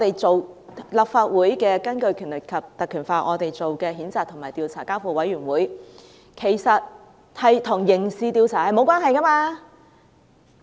根據《立法會條例》，我們提出譴責及交付委員會調查，其實與刑事調查沒有關係。